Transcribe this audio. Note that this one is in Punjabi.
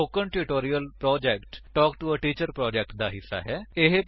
spoken tutorial project talk to a teacher project ਦਾ ਹਿੱਸਾ ਹੈ